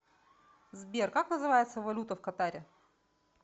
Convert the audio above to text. сбер как называется валюта в катаре